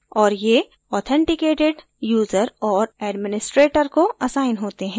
और ये authenticated user और administrator को असाइन होते हैं